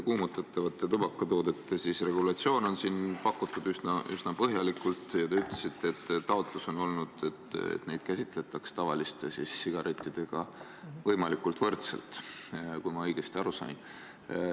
Kuumutatavate tubakatoodete regulatsioon on siin pakutud üsna põhjalik ja te ütlesite, et teie taotlus on olnud, et neid käsitletaks tavaliste sigarettidega võimalikult võrdselt, kui ma õigesti aru sain.